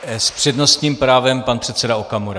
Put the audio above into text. S přednostním právem pan předseda Okamura.